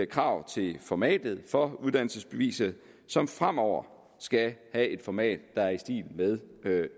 krav til formatet for uddannelsesbeviset som fremover skal have et format der er i stil med